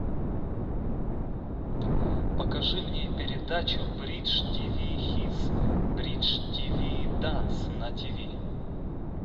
покажи мне передачу бридж тиви хитс бридж тиви данс на тиви